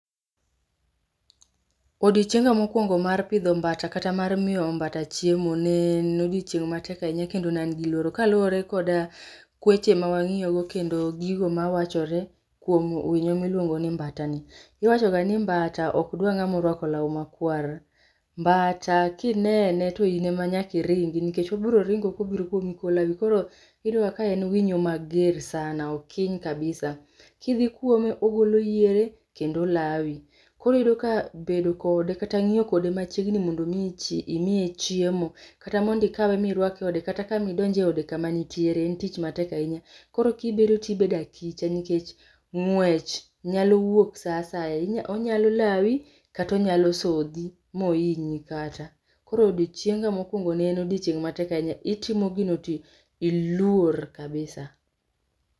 Odiochienga mokuongo mar pidho mbata kata mar miyo mbata chiemo ne en odiochieng' matek ahinya kendo ne an gi luoro. Kaluwore koda kweche ma wang'iyo go kendo gigo ma wachore kuom winyo miluongo ni mbata ni, iwacho ga ni mbata okdwa ng'ama orwako law makwar. Mbata kinene, to in e ma nyaka iringi, nikech obiro ringo kobiro kuomi kolawi. Koro iyudo ga ka en winyo mager sana, okiny kabisa. Kidhi kuome ogolo yiere kendo olawi. Koro iyudo ka bedo kode kata ng'iyo kode machiegni mondo mi imiye chiemo, kata mondo ikawe mirwake e ode, kata ka mi idonj e ode kama nitiere en tich matek ahinya. Koro kibedo tibedo achicha nikech ng'wech nyalo wuok sa asaya. Onyalo lawi kata onyalo sodhi ma ohinyi kata. Koro odiochienga mokuongo ne en odiochieng' matek ahinya. Itimo gino tiluor kabisa.